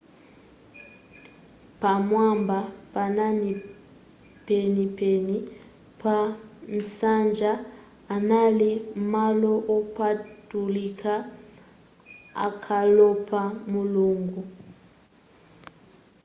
pamwamba penipeni pa nsanja anali malo opatulika okhalapo mulungu